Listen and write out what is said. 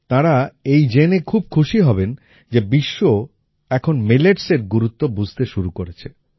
তারা এই জোনে খুব খুশি হবেন যে বিশ্ব এখন milletsএর গুরুত্ব বুঝতে শুরু করেছে